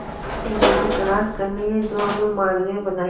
ऐसी चीजों की तलाश करनी है जो हमें मानवीय बनाएं